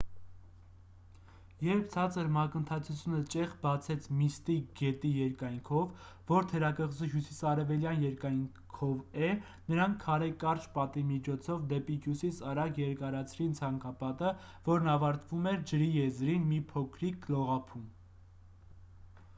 երբ ցածր մակընթացությունը ճեղք բացեց միստիկ գետի երկայնքով որ թերակղզու հյուսիսարևելյան երկայնքով է նրանք քարե կարճ պատի միջոցով դեպի հյուսիս արագ երկարացրին ցանկապատը որն ավարտվում էր ջրի եզրին մի փոքրիկ լողափում